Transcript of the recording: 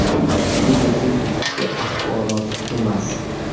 Bu bizning ichki axborot emas.